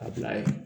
A bila yen